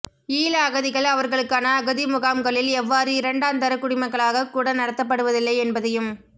ஈழ அகதிகள் அவர்களுக்கான அகதி முகாம்களில் எவ்வாறு இரண்டாந்தர குடிமக்களாக கூட நடத்தப்படுவதில்லை என்பதையும்